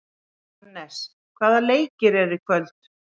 Anes, hvaða leikir eru í kvöld?